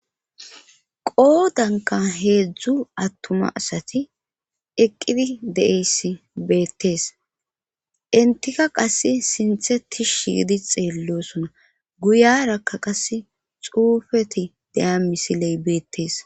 qoodanka heedzdzu attuma asati eqqidi de7eyssi beettees intika qas sintheti shiidi xeellosona guyarakka qas xuufeti deya misiley beettees